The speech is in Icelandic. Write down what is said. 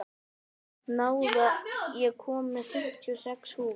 Náð, ég kom með fimmtíu og sex húfur!